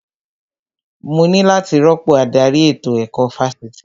Mo ní láti rọ́pò adarí ètò ẹ̀kọ́ Fásitì